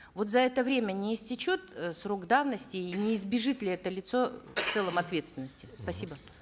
вот за это время не истечет э срок давности и не избежит ли это лицо в целом ответственности спасибо